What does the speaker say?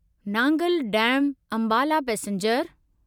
Nangal dam Ambala passenger